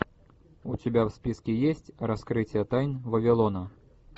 у тебя в списке есть раскрытие тайн вавилона